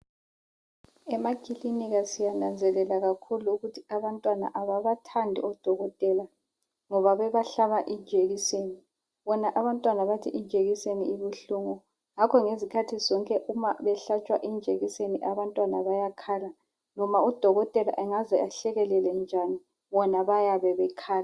Emakilinika siyananzelela kakhulu ukuthi abantwana ababathandi odokotela ngoba bebahla injekisini. Bona abantwana bathi injekiseni ibuhlungu, ngakho ngezikhathi zonke umabehlatshwa injekiseni abantwana bayakhala. Noma udokotela angaze ahlekelele njani, bona bayabe bekhala.